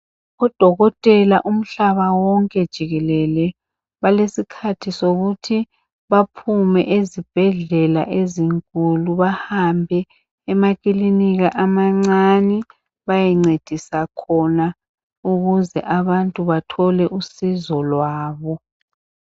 Odokotela umhlaba wonke jikelele balesikhathi sokuthi baphume ezibhedlela ezinkulu bahambe emakilinika amancane bayencedisa khona ukuze abantu bethole usizo lwabo.